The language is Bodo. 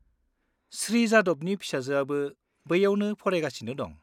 -श्री यादवनि फिसाजोआबो बैयावनो फरायगासिनो दं।